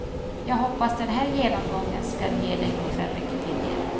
Jag hoppas den här genomgången skall ge dig några riktlinjer.